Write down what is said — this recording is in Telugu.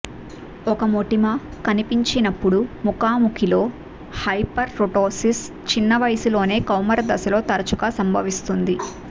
ఒక మొటిమ కనిపించినప్పుడు ముఖాముఖిలో హైపర్కరోటోసిస్ చిన్న వయస్సులోనే కౌమారదశలో తరచుగా సంభవిస్తుంది